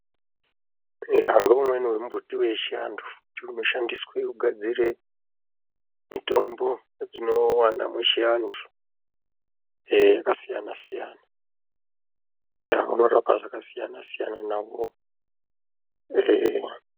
Eya ngeumweni vemumbuti vechiantu ndivounoshandiswe kugadzire mitombo yatinovana muchivantu ee yakasiyana-siyana. Ee unorapa zvakasiyana-siyana navo ee.